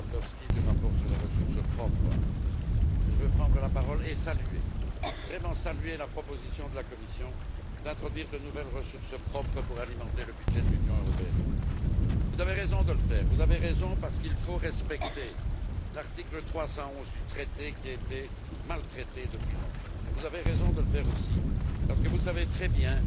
Lewandowski, du rapport sur les ressources propres, que je veux prendre la parole et vraiment saluer la proposition de la Commission d'introduire de nouvelles ressources propres pour alimenter le budget de l'Union européenne. Vous avez raison de le faire parce qu'il faut respecter l'article 311 du traité qui a été maltraité depuis longtemps et vous avez raison de le faire aussi parce que vous savez très bien